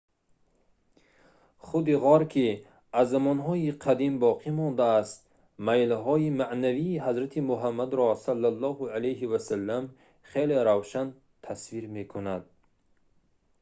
худи ғор ки аз замонҳои қадим боқӣ мондааст майлҳои маънавии ҳазрати муҳаммадро с.а.в. хеле равшан тасвир мекунад